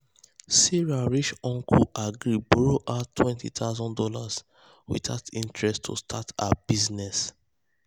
sarah rich uncle agree borrow her two thousand dollars0 without interest to start her business.